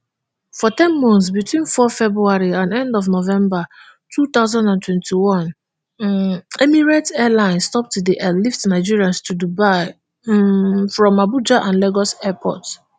for ten months between four february and end of november two thousand and twenty-one um emirates airlines stop to dey airlift nigerians to dubai um from abuja and lagos airports